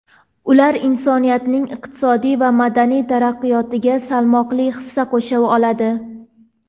ular insoniyatning iqtisodiy va madaniy taraqqiyotiga salmoqli hissa qo‘sha oladi.